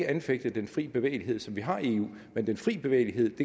anfægte den fri bevægelighed som vi har i eu men den fri bevægelighed